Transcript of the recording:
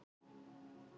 Ný tillaga um sumartíma.